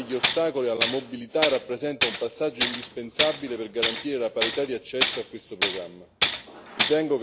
L'eliminazione degli ostacoli alla mobilità rappresenta un passaggio indispensabile per garantire la parità di accesso a questo programma.